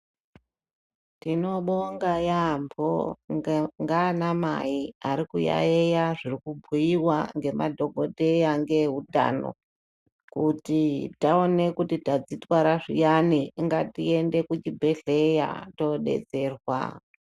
Tinobonga yambo ngaana mai ari kuyayeya zviri kubhuiwa ngemadhokodheya ngeutano kuti taona kuti tazvitwara zviyani ngatiende kuzvibhedhleya todetserwa.